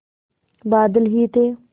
बादल ही थे